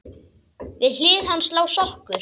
Við hlið hans lá sokkur.